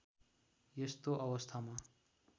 यस्तो अवस्थामा